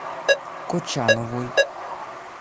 кочановой